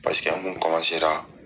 Paseke an kun